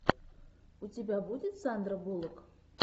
у тебя будет сандра буллок